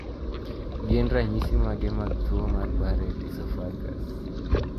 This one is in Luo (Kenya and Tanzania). Gin ranyisi mage mag tuo mar Barrett esophagus?